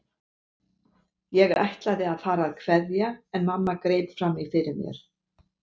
Ég ætlaði að fara að kveðja en mamma greip fram í fyrir mér.